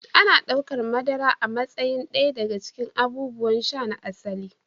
Ana ɗaukar madara a matsayin ɗaya daga cikin abubuwan sha "na asali".